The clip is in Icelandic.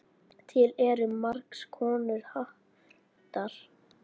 Til eru margs konar hattar.